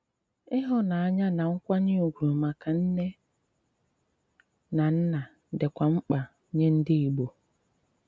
Ịhùnànyà na nkwànyè ùgwù maka nnè na nnà dịkwà mk̀pà nye ndị Ìgbò.